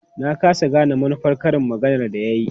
Na ƙasa gane manufar karin maganar da ya yi.